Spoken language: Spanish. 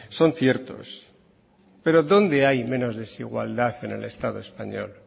son ciertos pero dónde hay menos desigualdad en el estado español